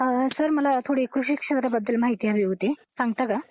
Sir मला थोडी कृषी कृषी शिक्षणाबद्दल माहिती हवी होती. सांगता का?